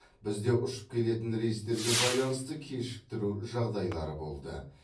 бізде ұшып келетін рейстерге байланысты кешіктіру жағдайлары болды